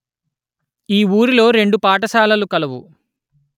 ఈ ఊరిలో రెండు పాఠశాలలు కలవు